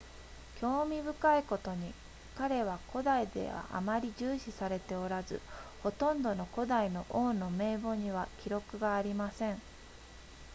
興味深いことに彼は古代ではあまり重視されておらずほとんどの古代の王の名簿には記録がありません